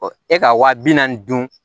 e ka wa bi naani dun